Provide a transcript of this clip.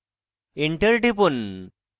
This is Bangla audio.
enter টিপুন